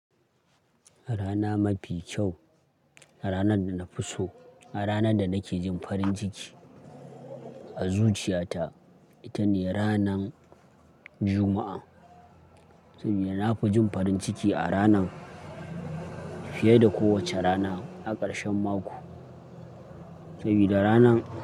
Rana mafi kyau, ranar da na fi so, ranar da nake jin farin ciki a zuciyata ita ne ranan Juma'a. Saboda na fi jin farin ciki a ranan fiye da kowace rana a ƙarshen mako. Saboda ranan.